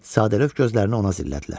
Sadəlövh gözlərini ona zillədilər.